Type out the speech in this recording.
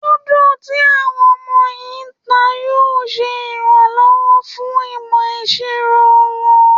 Lúdò tí àwọn ọmọ yìí ń ta yóò ṣe ìrànwọ́ fún ìmọ̀ ìṣirò wọn